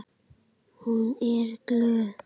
Hún er glöð.